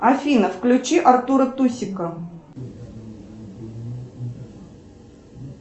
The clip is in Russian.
афина включи артура тусика